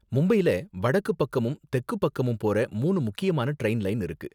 மும்பைல வடக்கு பக்கமும் தெக்கு பக்கமும் போற மூணு முக்கியமான டிரைன் லைன் இருக்கு.